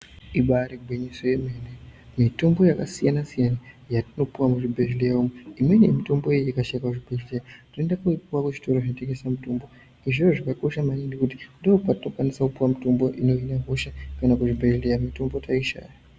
Ibarigwinyiso yemene mitombo yakasiyana-siyana yatinopuva muzvibhedhleya umu. Imweni yemitombo iyi ikashaika muzvibhedhleya tinoenda koipuva kuzvitoro zvinotengesa mutombo. Zviro zvakakosha maningi ngekuti ndokwatokwanisa kupuva mitombo inohine hosha kana kuzvibhedhleya mitombo taishaya.